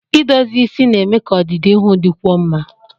Idozi isi na-eme ka ọdịdị ihu dịkwuo mma